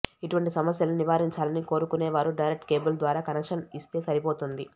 ఇటువంటి సమస్యలను నివారించాలని కోరుకునేవారు డైరెక్ట్ కేబుల్ ద్వారా కనెక్షన్ ఇస్తే సరిపోతుంది